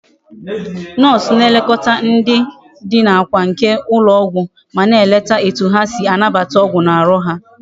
Nurse na elekota ndi Dina na akwa nke ndi ulo ogwu ma na eleta etu ha si anabata ogwu na Aru ha